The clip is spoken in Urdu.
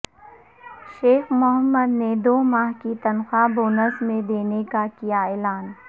شیخ محمد نے دو ماہ کی تنخواہ بونس میں دینے کا کیااعلان